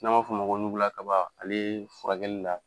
N' b'a f'ɔ o man ko nugula kaba ale furakɛli la.